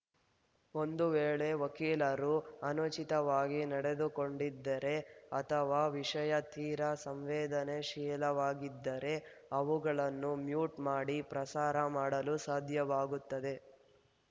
ಒಂದು ವೇಳೆ ವಕೀಲರು ಅನುಚಿತವಾಗಿ ನಡೆದುಕೊಂಡಿದ್ದರೆ ಅಥವಾ ವಿಷಯ ತೀರಾ ಸಂವೇದನಾಶೀಲವಾಗಿದ್ದರೆ ಅವುಗಳನ್ನು ಮ್ಯೂಟ್‌ ಮಾಡಿ ಪ್ರಸಾರ ಮಾಡಲು ಸಾಧ್ಯವಾಗುತ್ತದೆ